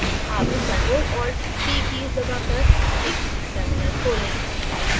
अब ctrl + alt + t keys दबाकर एक now terminal खोलें